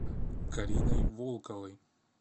кариной волковой